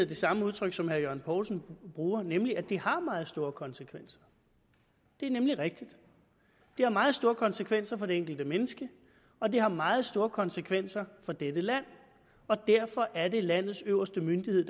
det samme udtryk som herre jørgen poulsen bruger nemlig at det har meget store konsekvenser det er nemlig rigtigt det har meget store konsekvenser for det enkelte menneske og det har meget store konsekvenser for dette land og derfor er det landets øverste myndighed